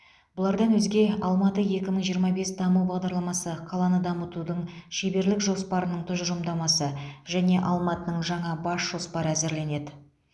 бұлардан өзге алматы екі мың жиырма бес даму бағдарламасы қаланы дамытудың шеберлік жоспарының тұжырымдамасы және алматының жаңа бас жоспары әзірленеді